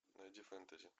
найди фэнтези